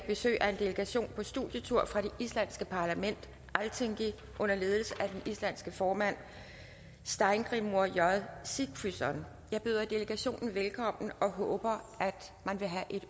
besøg af en delegation på studietur fra det islandske parlament alþingi under ledelse af den islandske formand steingrímur j sigfússon jeg byder delegationen velkommen og håber at man vil have et